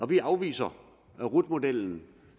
vi afviser den rut model